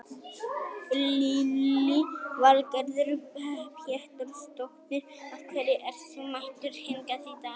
Lillý Valgerður Pétursdóttir: Af hverju ert þú mættur hingað í dag?